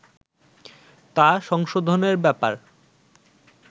তা সংশোধনের ব্যাপার